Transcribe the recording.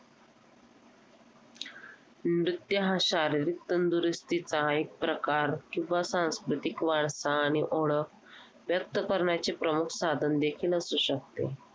scissor लागेल जर लागेल मग मी सतराशे रुपयांचा तिन्ही पण वस्तू घेतल्या आणि मग त्यांनी शिकवायला सुरुवात केली आणि पहिल्यांदा diamond Caesar कसा पकडायचा आणि कसा फिरवायचा .